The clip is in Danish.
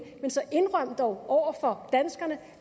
men så indrøm dog over for danskerne